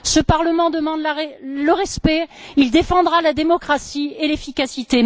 Ce Parlement demande le respect, il défendra la démocratie et l'efficacité.